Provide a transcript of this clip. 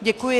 Děkuji.